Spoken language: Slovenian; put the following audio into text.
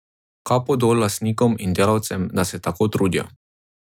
Kapo dol lastnikom in delavcem, da se tako trudijo.